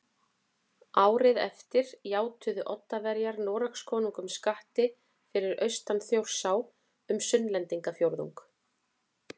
Árið eftir játuðu Oddaverjar Noregskonungum skatti fyrir austan Þjórsá um Sunnlendingafjórðung